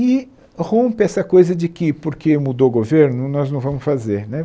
E rompe essa coisa de que, porque mudou o governo, nós não vamos fazer né.